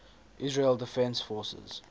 israel defense forces